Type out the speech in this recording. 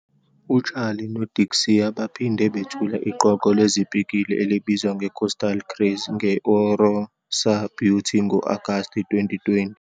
UCharli noDixie baphinde bethula iqoqo lezipikili, elibizwa nge-Coastal Craze, nge-Orosa Beauty ngo-Agasti 2020.